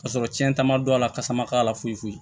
Ka sɔrɔ cɛn ta ma don a la kasa ma k'a la foyi foyi